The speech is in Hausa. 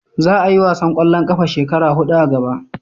Za a yi wasan kwallon kafa shekara hudu a gaba